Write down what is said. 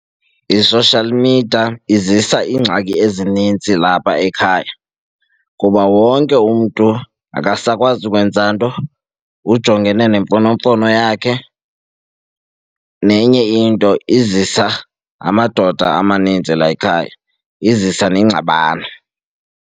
I-social media izisa iingxaki ezininzi lapha ekhaya kuba wonke umntu akasakwazi ukwenza nto, ujongene nemfonomfono yakhe. Nenye into, izisa amadoda amaninzi la ekhaya, izisa nengxabano.